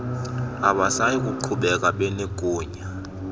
abasayi kuqhubeka benegunya